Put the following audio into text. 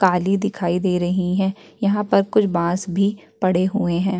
काली दिखाई दे रही हैं यहां पर कुछ बांस भी पड़े हुए हैं।